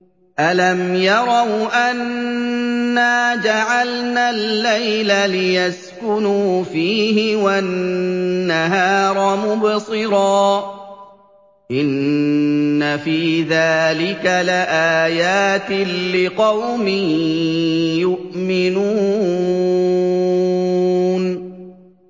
أَلَمْ يَرَوْا أَنَّا جَعَلْنَا اللَّيْلَ لِيَسْكُنُوا فِيهِ وَالنَّهَارَ مُبْصِرًا ۚ إِنَّ فِي ذَٰلِكَ لَآيَاتٍ لِّقَوْمٍ يُؤْمِنُونَ